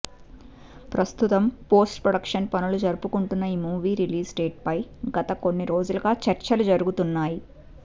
ప్రస్తుతం post production పనులు జరుపుకుంటున్న ఈ మూవీ రిలీజ్ డేట్ ఫై గత కొన్ని రోజులుగా చర్చలు జరుగుతున్నాయి